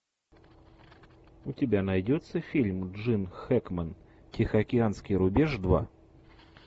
у тебя найдется фильм джин хэкмен тихоокеанский рубеж два